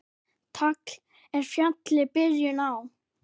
Tagl er fjalli byrjun á.